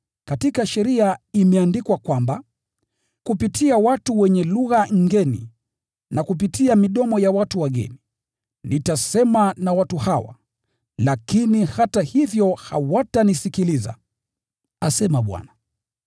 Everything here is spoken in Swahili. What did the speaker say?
Katika Sheria imeandikwa kwamba: “Kupitia kwa watu wenye lugha ngʼeni na kupitia midomo ya wageni, nitasema na watu hawa, lakini hata hivyo hawatanisikiliza,” asema Bwana.